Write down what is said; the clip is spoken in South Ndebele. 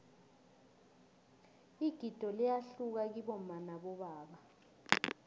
igido liyahluka kibomma nabobaba